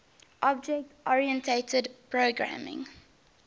object oriented programming